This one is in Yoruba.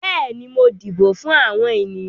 Bẹ́ẹ̀ni, mo dìbò fún àwọn ènìyàn.